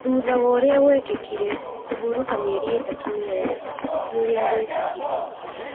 Thutha wa ũrĩa gũekĩkire, kũhurũka mĩeri ĩtatũ, nĩ wega nĩ ũrĩa gũekĩkire".